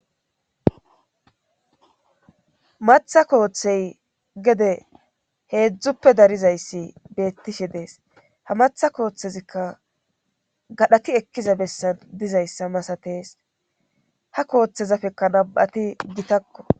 Maththa kooththey gede heedzdzuppe darizayssi beettishshe dees ha maaththa kooththezikka gadhdhati ekkiza bessan dizayssa masatees ha kooththezapekka nam'ati gittakko